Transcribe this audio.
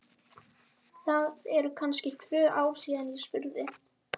Það eru kannski tvö ár síðan ég spurði.